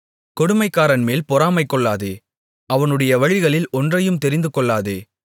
கொடுமைக்காரன்மேல் பொறாமைகொள்ளாதே அவனுடைய வழிகளில் ஒன்றையும் தெரிந்துகொள்ளாதே